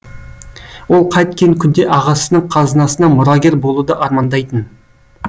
ол қайткен күнде ағасының қазынасына мұрагер болуды армандайтын